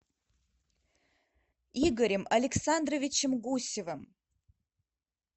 игорем александровичем гусевым